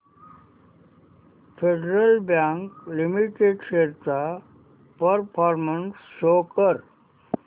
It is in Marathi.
फेडरल बँक लिमिटेड शेअर्स चा परफॉर्मन्स शो कर